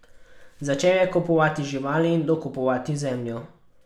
Začel je kupovati živali in dokupovati zemljo.